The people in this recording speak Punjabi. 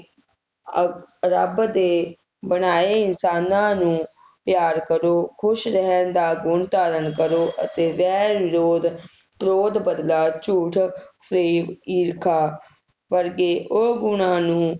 ਆਹ ਰੱਬ ਦੇ ਬਣਾਏ ਇਨਸਾਨਾਂ ਨੂੰ ਪਿਆਰ ਕਰੋ ਖੁਸ਼ ਰਹਿਣ ਦਾ ਗੁਣ ਧਾਰਨ ਕਰੋ ਅਤੇ ਵੈਰ ਵਿਰੋਧ ਕ੍ਰੋਧ ਬਦਲਾ ਝੂਠ ਫਰੇਬ ਈਰਖਾ ਵਰਗੇ ਉਹ ਗੁਣਾਂ ਨੂੰ